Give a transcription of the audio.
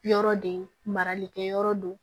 Yɔrɔ de marali kɛ yɔrɔ don